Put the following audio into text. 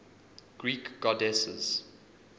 greek goddesses